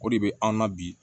O de bɛ an na bi